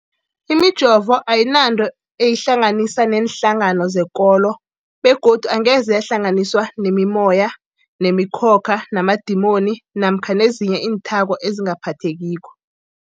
Imijovo ayinanto eyihlanganisa neenhlangano zekolo begodu angeze yahlanganiswa nemimoya, nemi khokha, namadimoni namkha ezinye iinthako ezingaphathekiko.